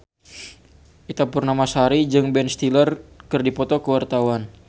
Ita Purnamasari jeung Ben Stiller keur dipoto ku wartawan